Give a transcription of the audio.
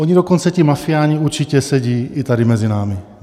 Oni dokonce ti mafiáni určitě sedí i tady mezi námi.